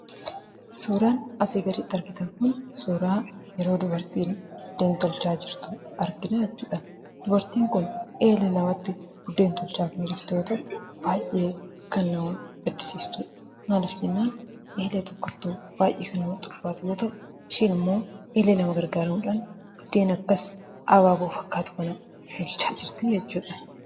Suuraan asii gaditti argitan kun suuraa yeroo dubartiin buddeen tolchaa jirtu argina jechuudha. Dubartiin kun eelee lamatti buddeen tolchaa kan jirtu yoo ta'u, baay'ee kan nama gaddisiistudha. Maaliif jennaan? eelee tokkottuu baay'ee kan namatti ulfaatu yoo ta'u, isheen ammoo eelee lama gargaaruudhaan, biddeen akkas abaaboo fakkaatu kana tolchaa jirtii jechuudha.